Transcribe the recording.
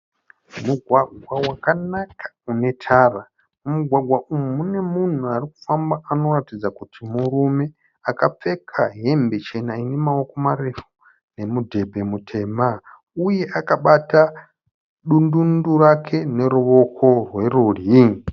Mugwagwa wakanaka unetara. Mumugwagwa umu mune munhu arikufamba anoratidza kuti murume. Akapfeka hembe chena inemaoko marefu nemudhebhe mutema. Uye akabata dundundu rake neruoko rwerudyi.